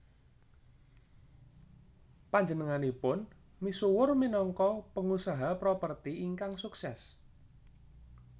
Panjenenganipun misuwur minangka pengusaha properti ingkang sukses